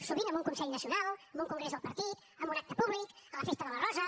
sovint en un consell nacional en un congrés del partit en un acte públic a la festa de la rosa